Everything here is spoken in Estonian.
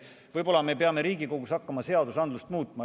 Võib-olla me peame Riigikogus hakkama seadusandlust muutma.